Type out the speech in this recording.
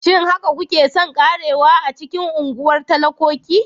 Shin haka kuke son ƙarewa a cikin unguwar talakoki?